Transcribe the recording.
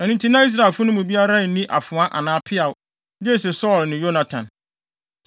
Ɛno nti na Israelfo no mu biara nni afoa anaa peaw, gye sɛ Saulo ne Yonatan.